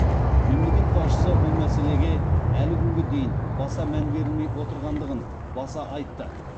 мемлекет басшысы бұл мәселеге әлі күнге дейін баса мән берілмей отырғандығын баса айтты